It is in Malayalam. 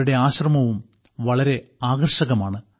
അവരുടെ ആശ്രമവും വളരെ ആകർഷകമാണ്